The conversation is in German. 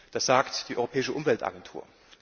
Das sagt die Europäische Umweltagentur.